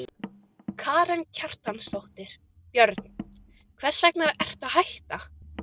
Karen Kjartansdóttir: Björn, hvers vegna ertu að hætta?